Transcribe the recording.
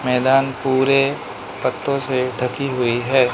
मैदान पूरे पत्तों से ढकी हुई है।